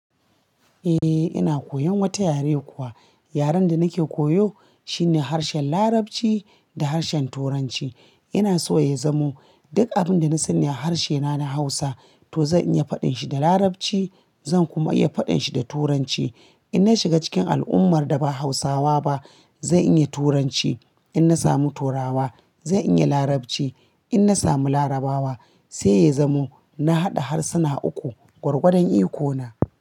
Eh ina koyan wata yare kuwa. Yaren da nake koyo shine harshen Larabci da harshen Turanci. Ina so ya zamo duk abun da na sanni a harce na na Hausa to zan iya faɗin shi da Larabci. Zan kuma iya faɗin shi da Turanci. In na shiga cikin al'ummar da ba Hausawa ba zan iya Turanci. In na samu Turawa zan iya Larabci in na samu Larabawa. Sai ya zamo na haɗa harsuna uku gwargwadon iko na.